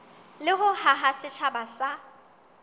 le ho haha setjhaba sa